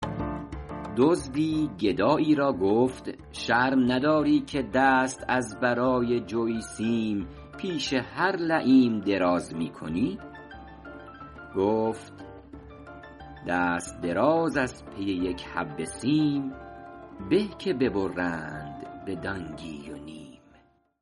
دزدی گدایی را گفت شرم نداری که دست از برای جوی سیم پیش هر لییم دراز می کنی گفت دست دراز از پی یک حبه سیم به که ببرند به دانگی و نیم